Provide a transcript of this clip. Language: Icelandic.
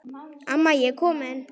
Amma ég er komin